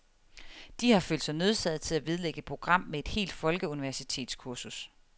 De har følt sig nødsaget til at vedlægge et program med et helt folkeuniversitstskursus.